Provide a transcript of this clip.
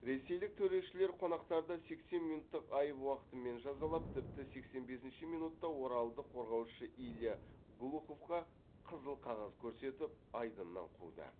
ресейлік төрешілер қонақтарды сексен минуттық айып уақытымен жазалап тіпті сексен бесінші минутта оралдық қорғаушы илья глуховқа қызыл қағаз көрсетіп айдыннан қуды